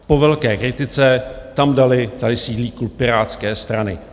Po velké kritice tam dali: tady sídlí klub Pirátské strany.